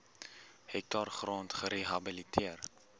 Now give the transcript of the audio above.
hektaar grond gerehabiliteer